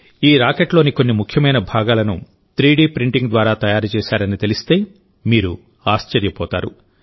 ఈ రాకెట్లోని కొన్ని ముఖ్యమైన భాగాలను త్రీడీ ప్రింటింగ్ ద్వారా తయారు చేశారని తెలిస్తే మీరు ఆశ్చర్యపోతారు